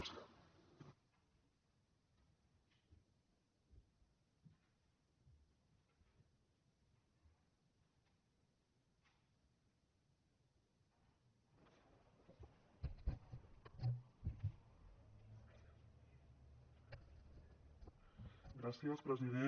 gràcies president